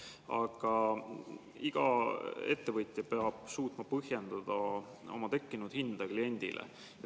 Aga iga ettevõtja peab suutma põhjendada oma hinda kliendile.